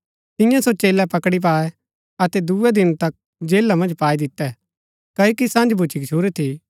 तिन्ये सो चेलै पकड़ी पायै अतै दूये दिन तक जेला मन्ज पाई दितै क्ओकि सँझ भूच्ची गच्छुरी थी